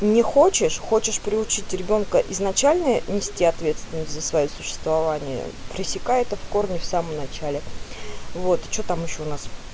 не хочешь хочешь приучить ребёнка изначально нести ответственность за своё существование пересекай это в корне в самом начале вот что там ещё у нас